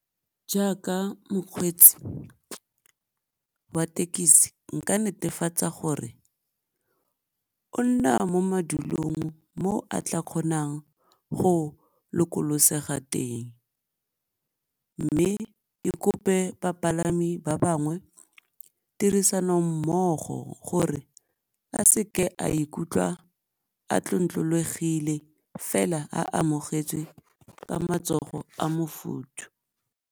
Jaaka mokgweetsi wa tekisi nka netefatsa gore o nna mo madulong mo a tla kgonang go lokolosega teng, mme ke kope bapalami ba bangwe tirisanommogo gore a seke a ikutlwa a tlontlolwegile fela a amogetswe ka matsogo a mofuthu.